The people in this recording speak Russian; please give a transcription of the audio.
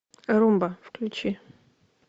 румба включи